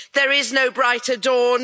There is no brighter dawn.